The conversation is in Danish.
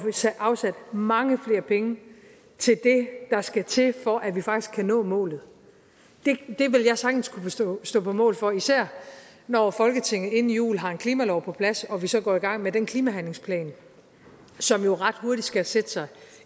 afsat mange flere penge til det der skal til for at vi faktisk kan nå målet det vil jeg sagtens kunne stå stå på mål for især når folketinget inden jul har en klimalov på plads og vi så går i gang med den klimahandlingsplan som jo ret hurtigt skal sætte sig